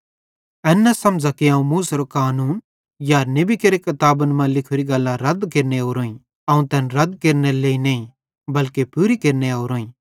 एन न बुझ़थ कि अवं मूसेरो कानून या नेबी केरे किताबन मां लिखोरी गल्लां रद केरने ओरोईं अवं तैन रद केरने नईं बल्के पूरू केरने ओरोईं